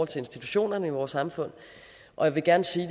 til institutionerne i vores samfund og jeg vil gerne sige